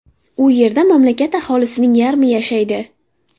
U yerda mamlakat aholisining yarmi yashaydi.